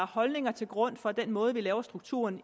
holdninger til grund for den måde vi laver strukturen